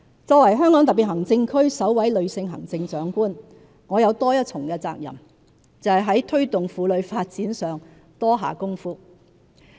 作為香港特別行政區首位女性行政長官，我有多一重責任，就是在推動婦女發展上多下工夫。